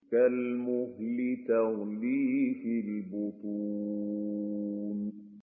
كَالْمُهْلِ يَغْلِي فِي الْبُطُونِ